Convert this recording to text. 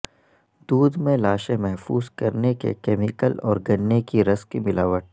دودھ میں لاشیں محفوظ کرنے کے کیمیکل اور گنے کے رس کی ملاوٹ